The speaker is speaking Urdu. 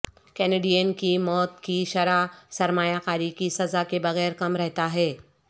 کینیڈین کی موت کی شرح سرمایہ کاری کی سزا کے بغیر کم رہتا ہے